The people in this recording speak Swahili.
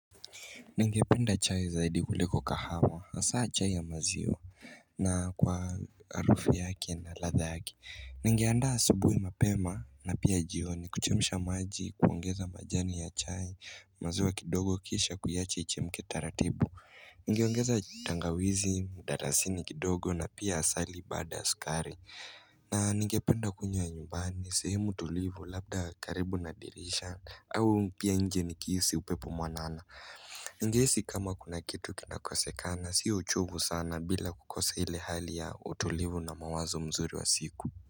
Ningependa chai zaidi uleko kahama na saa chai ya mazio na kwa arufi yaki na lathagi Ningeanda sabui mapema na pia jioni kuchemisha maji kuongeza majani ya chai mazua kidogo kisha kuyache ichi mketaratibu Ningeongeza tangawizi, darasini kidogo na pia asali bad askari na ningependa kunywa nyumbani sehemu tulivu labda karibu nadirisha au pia nje nikisi upepo mwanana Ngesi kama kuna kitu kinakosekana si uchubu sana bila kukosa ile hali ya utulivu na mawazo mzuri wa siku.